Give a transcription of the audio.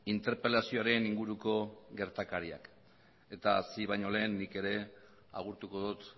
interpelazioaren inguruko gertakariak eta hasi baino lehen nik ere agurtuko dut